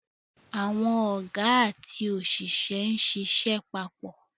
Àwọn Ọ̀gá àti òṣìṣẹ́ ń ṣiṣẹ́ papọ̀